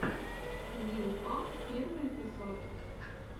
лил памп первый эпизод